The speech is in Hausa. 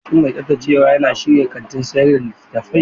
Shin mai tsaftacewa ya shirya kantin sayar da littattafai?